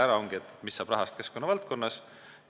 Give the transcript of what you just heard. See oligi see, mis saab rahast keskkonnavaldkonnas.